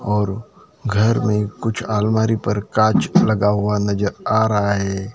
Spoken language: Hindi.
और घर में कुछ अलमारी पर कांच लगा हुआ नजर आ रा है।